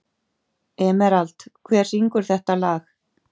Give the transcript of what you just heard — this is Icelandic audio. Emerald, hver syngur þetta lag?